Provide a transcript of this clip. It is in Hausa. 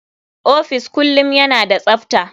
Office kullum yana da tsafta.